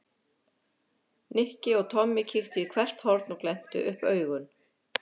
Nikki og Tommi kíktu í hvert horn og glenntu upp augun.